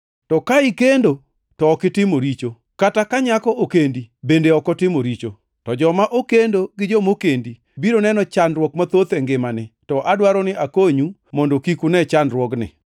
To ka ikendo, to ok itimo richo; kata ka nyako okendi bende ok otimo richo. To joma okendo gi mokendi biro neno chandruok mathoth e ngimani, to adwaro ni akonyu mondo kik une chandruokni.